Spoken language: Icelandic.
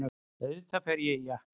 Auðvitað fer ég í jakka.